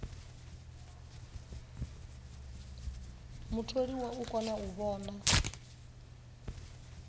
mutholiwa u kona u vhona